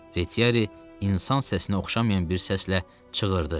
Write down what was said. Reçiyari insan səsinə oxşamayan bir səslə çığırdı.